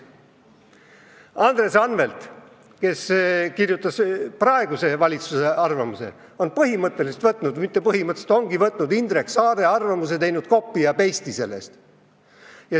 Andres Anvelt, kes kirjutas praeguse valitsuse arvamuse, on põhimõtteliselt võtnud – mitte põhimõtteliselt, vaid ongi võtnud – Indrek Saare arvamuse ning teinud copy ja paste'i liigutuse.